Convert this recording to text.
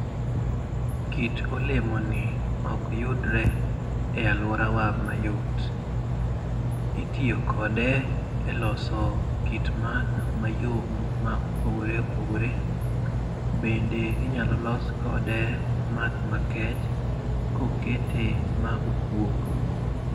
Kit olemoni ok yudore e alworawa mayot. Itiyo kode e loso kit math mayom ma opogore opogore. Bende inyalo los kode math makech ka okete ma okuok.